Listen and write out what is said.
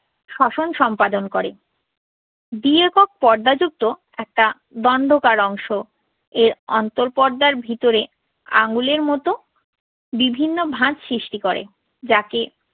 স্বশন সম্পাদন করে। দ্বি-একক পর্দা যুক্ত একটা দণ্ডকার অংশ, এর অন্তঃপর্দার ভিতরে আঙুলের মতো বিভিন্ন ভাঁজ সৃষ্টি করে, যাকে